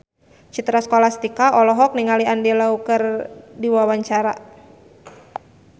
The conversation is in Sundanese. Citra Scholastika olohok ningali Andy Lau keur diwawancara